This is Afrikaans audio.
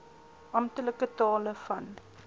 amptelike tale van